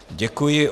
Děkuji.